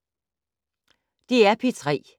DR P3